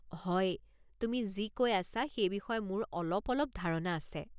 হয়, তুমি যি কৈ আছা সেই বিষয়ে মোৰ অলপ অলপ ধাৰণা আছে।